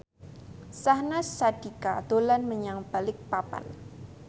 Syahnaz Sadiqah dolan menyang Balikpapan